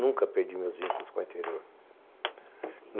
Nunca perdi meus vínculos com o interior.